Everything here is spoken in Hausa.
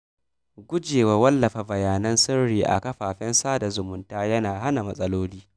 Gujewa wallafa bayanan sirri a kafafen sada zumunta yana hana matsaloli.